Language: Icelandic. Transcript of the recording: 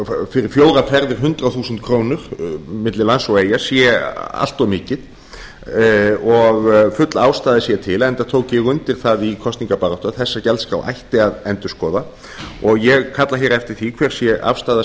fyrir fjórar ferðir hundrað þúsund króna milli lands og eyja sé allt of mikið og full ástæða sé til enda tók ég undir það í kosningabaráttu að þessa gjaldskrá ætti að endurskoða og ég kalla eftir því hver sé afstaða